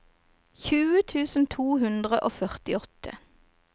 tjue tusen to hundre og førtiåtte